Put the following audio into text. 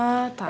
Ah, tá.